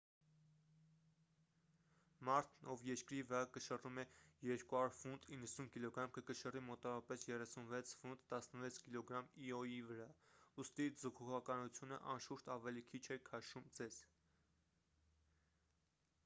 մարդն ով երկրի վրա կշռում է 200 ֆունտ 90 կգ կկշռի մոտավորապես 36 ֆունտ 16 կգ իոյի վրա։ ուստի՝ ձգողականությունը անշուշտ ավելի քիչ է քաշում ձեզ։